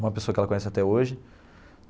Uma pessoa que ela conhece até hoje.